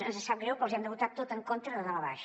ens sap greu però els hi hem de votar tot en contra de dalt a baix